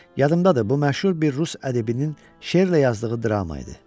Yadımdadır, bu məşhur bir Rus ədibinin şeirlə yazdığı drama idi.